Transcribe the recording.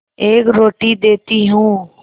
एक रोटी देती हूँ